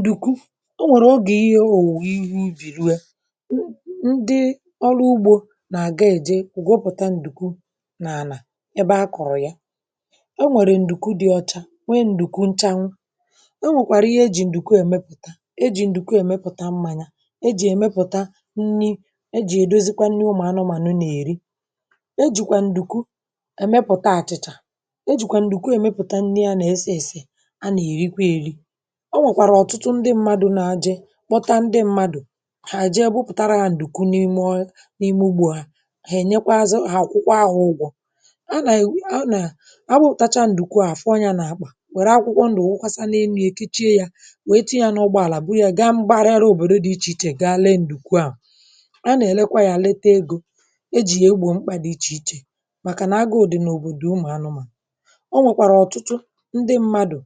ǹdùkwu, o nwèrè ọ gà, ihe ọ wụ̀wụ̀ ihu iji̇ ruo ya, ndị ọrụ ugbȯ nà-àga èje wụ̀gwọ, pụ̀ta ǹdùkwu nà-ànà ebe a kọ̀rọ̀ ya. È nwèrè ǹdùkwu dị ọcha, nwe ǹdùkwu nchanwụ; e nwèkwàrà ihe e jì ǹdùkwu èmepụ̀ta — e jì ǹdùkwu èmepụ̀ta mmȧ ya, e jì èmepụ̀ta nni̇, e jì èdozikwa nni. Ụmụ̀ anụmànụ nà-èri, e jìkwà ǹdùkwu èmepụ̀ta àchịchà; e jìkwà ǹdùkwu èmepụ̀ta nni a nà-èsi èsì, a nà-èrikwa èri.O nwèkwàrà ọ̀tụtụ ndị mmadụ̇ na-ajị kpọta ndị mmadụ̀ hà ji e gbupùtara hȧ ǹdùkwu n’ime oyị, n’ime ugbù ahụ̀; hà ènyekwazị hà akwụkwọ ahụ, ụgwọ̇ a nà-àwi, a nà-àbụ̇pụ̀tàcha ǹdùkwu à. Fọọ yȧ n’akpà, wère akwụkwọ ndụ̀, nwokwasa na-énu ye kechie yȧ, wee tinye yȧ n’ọgbọ àlà, bu yȧ gaa mbara ya n’òbòdo dị ichè ichè, gaa lee ǹdùkwu a. A nà-èlekwa yȧ, lete egȯ e jì ya e gbò mkpà dị ichè ichè, màkà nà àga òdì n’òbòdò ụmụ̀ anụmà.O nwèkwàrà ọ̀tụtụ ndị mmadụ̀,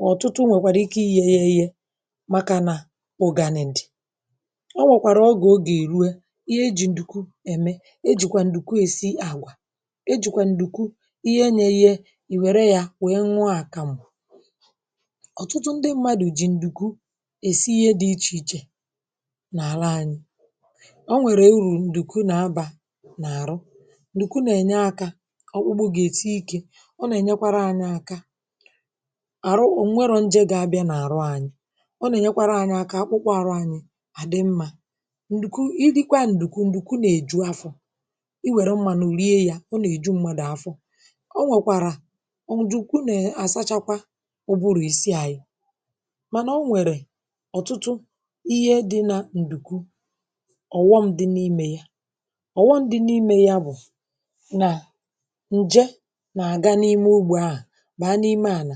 um ọ̀tụtụ nwèkwara ike igéghé, màkà nà ụ̀ganị. Ǹdị ọ nwèkwàrà ogè èrue ihe ejì ǹdìku ème, ejìkwà ǹdìku èsi àgwà, ejìkwà ǹdìku ihe nyéyé ìwère yȧ, wèe nwa àkà m̀bụ̀. Ọ̀tụtụ ndị mmadụ̀ jì ǹdìku èsi ihe dị̇ ichè ichè n’àla anyị̇.Ọ nwèrè urù ǹdìku nà-abà n’àrụ, ǹdìku nà-ènye akȧ ọkpụgbụ, gà-ète ike arụ. O nwèrò njego abịa n’arụ anyị; ọ na-enyekwara anyị aka akpụkpọ arụ anyị adị mma. Nduku, ịdịkwa nduku — nduku na-eju afọ. I were mmanụ rie ya, na-eju mmadụ afọ.O nwekwara ọ njuku na-asachakwa ụbụrụ isi anyị, [um]mana o nwere ọtụtụ ihe dị na nduku. Ọ̀wọ̀mdị n’ime ya, ọ̀wọ̀mdị n’ime ya bụ na nje na-aga n’ime ugbo ahụ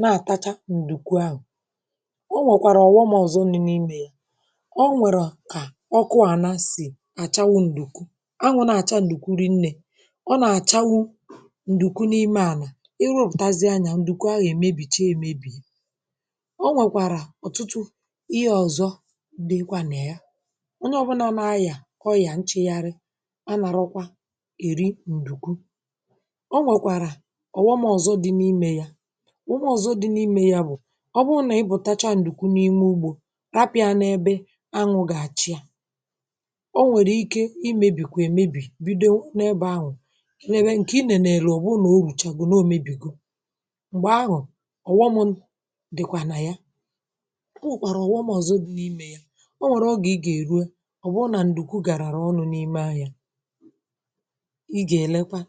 na-àtacha ǹdùkwu ahụ̀.O nwèkwàrà ọ̀ghọmà ọ̀zọ nni n’imē ya; o nwèrè kà ọ kụọ àna sì àchawụ̇ ǹdùkwu a, nwụ̇ na-àcha ǹdùkwuru nnė, ọ nà-àchawụ ǹdùkwu n’ime ànà. Irupùtazie anyȧ ǹdùkwu ahụ̀ èmebì cha èmebì.O nwèkwàrà ọ̀tụtụ ihe ọ̀zọ dịkwanụ̀ ya. Onye ọbụlà n’ayà kọyà, um nchegharị ànà rọkwa èri ǹdùkwu. Ụmụ̀ ọzọ dị n’ime ya bụ̀ — ọ bụrụ nà i bụtacha ǹdùkwu n’ime ugbȯ, ràpị̀ à n’ebe anwụ̇ gà-àchị ya, o nwèrè ike imēbì, kwà èmebì bido n’ebe anwụ̀ nà èbe ǹkè i nènè. Ẹ̀lẹ̀, ọ̀ bụ nà o rùcha bụ̀ nà o mebìgò. M̀gbè ahụ̀ ọ̀ghọmù̇ dị̀kwà nà ya, kwà òkpàrò ọ̀ghọmù ọzọ dị n’ime ya. O nwèrè ogè ị gà-èrue ọ̀gbụrụ nà ǹdùkwu gàràrà ọnụ̇ n’ime ahịa; ị gà-èlekwa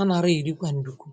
anara ìrìgwa ǹdùkwu.